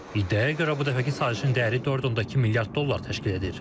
İddiaya görə bu dəfəki sazişin dəyəri 4.2 milyard dollar təşkil edir.